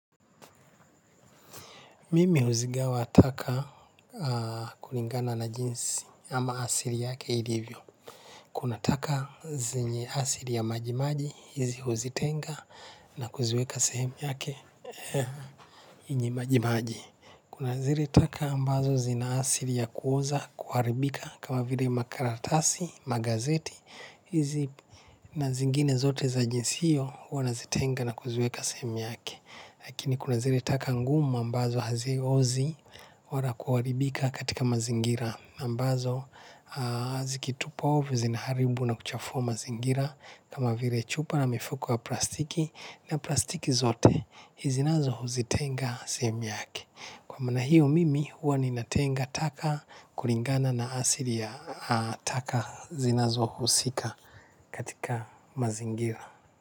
Mimi huzigawa taka kulingana na jinsi ama asili yake ilivyo. Kuna taka zenye asili ya majimaji hizi huzitenga na kuziweka sehemu yake yenye majimaji. Kuna zile taka ambazo zina asili ya kuoza kuharibika kama vile makaratasi, magazeti hizi na zingine zote za jinsi hiyo huwa nazitenga na kuziweka sehemu yake. Lakini kuna zile taka ngumu ambazo haziozi wala kuharibika katika mazingira ambazo zikitupwa ovyo zinaharibu na kuchafua mazingira kama vile chupa na mifukuko ya plastiki na plastiki zote hizi nazo huzitenga sehemu yake. Kwa maana hiyo mimi huwa ninatenga taka kulingana na asili ya taka zinazo husika katika mazingira.